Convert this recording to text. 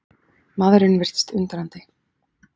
Maðurinn virtist undrandi.